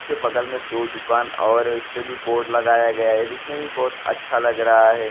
उसके बगल में दो दुकान और हैं उसमें भी बोर्ड लगाया गया हैं ये दिखने में बहुत अच्छा लग रहा हैं।